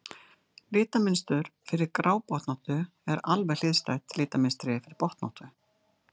litamynstur fyrir grábotnóttu er alveg hliðstætt litamynstri fyrir botnóttu